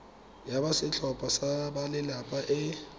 ya setlhopha sa balelapa e